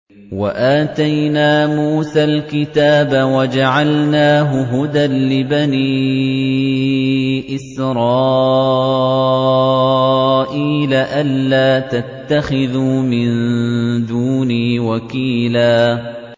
وَآتَيْنَا مُوسَى الْكِتَابَ وَجَعَلْنَاهُ هُدًى لِّبَنِي إِسْرَائِيلَ أَلَّا تَتَّخِذُوا مِن دُونِي وَكِيلًا